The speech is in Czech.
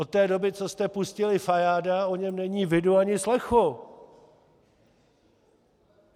Od té doby, co jste pustili Fajáda, o něm není vidu ani slechu.